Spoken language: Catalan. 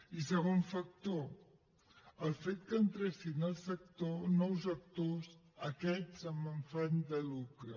i segon factor el fet que entressin al sector nous actors aquests amb afany de lucre